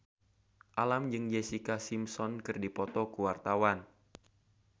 Alam jeung Jessica Simpson keur dipoto ku wartawan